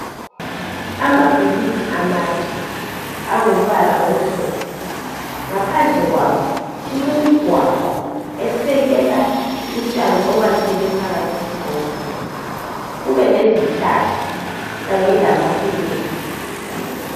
Amabhilidi amade angumbala omhlophe ngaphandle kwawo kulemigwaqo esekela utshani obakhelwe phakathi kwesigombolozi kubelezihlahla kanye lamafilegi.